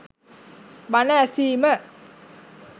බණ ඇසීම